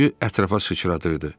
Suyu ətrafa sıçradırdı.